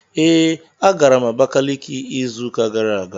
Ee, agara m Abakiliki izu ụka gara aga